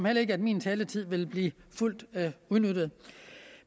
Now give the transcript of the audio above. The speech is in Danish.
heller ikke at min taletid vil blive fuldt udnyttet